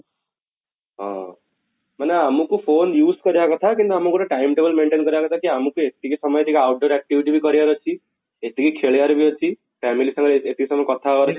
ହଁ, ମାନେ ଆମକୁ phone use କରିବା କଥା କିନ୍ତୁ ଆମକୁ ଗୋଟେ time table maintain କରିବା କଥା କି ଆମକୁ ଏତିକି ସମୟ ଭିତରେ ଗୋଟେ out door activity କରିବାର ଅଛି, ଏତିକି ଖେଳିବାର ବି ଅଛି family ସାଙ୍ଗରେ ଏତେ ସମୟ କଥା